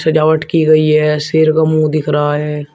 सजावट की गई है शेर का मुंह दिखे रहा है।